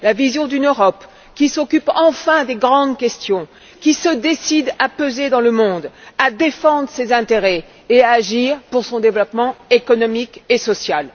La vision d'une Europe qui s'occupe enfin des grandes questions et qui se décide à peser dans le monde, à défendre ses intérêts et à agir pour son développement économique et social.